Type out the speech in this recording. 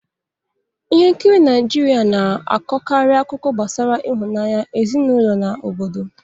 Ihe nkiri Naịjirịa na-akọkarị akụkọ gbasara ịhụnanya, ezinụlọ na obodo.